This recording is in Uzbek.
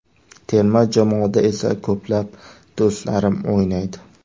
Terma jamoada esa ko‘plab do‘stlarim o‘ynaydi.